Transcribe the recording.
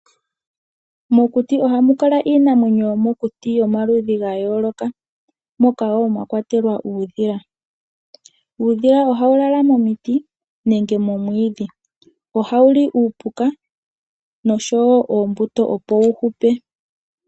Mokuti ohamu kala iinamwenyo yomokuti yomaludhi ga yooloka moka mwakwatelwa uudhila. Uudhila ohawu lala momiti nenge momwiidhi. Ohawuli uupuka oshowo omwiidhi opo wuhupe.